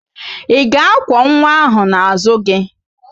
Ị ga-akwọ nwa ahụ n'azụ gị?